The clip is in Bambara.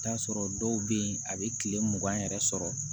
I bi taa sɔrɔ dɔw be yen a be kile mugan yɛrɛ sɔrɔ